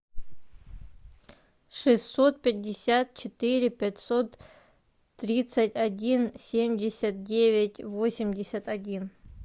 шестьсот пятьдесят четыре пятьсот тридцать один семьдесят девять восемьдесят один